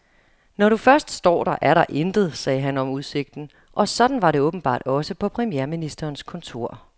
Når du først står der, er der intet, sagde han om udsigten, og sådan var det åbenbart også på premierministerens kontor.